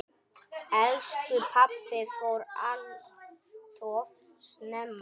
Elsku pabbi fór alltof snemma.